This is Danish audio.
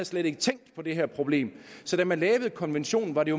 slet ikke tænkt på det her problem så da man lavede konventionen var det